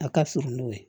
A ka fur n'o ye